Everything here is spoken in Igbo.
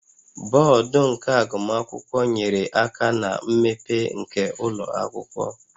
Board nke agụmakwụkwọ nyere aka na mmepe nke ụlọ akwụkwọ